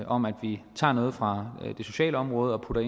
om at vi tager noget fra det sociale område og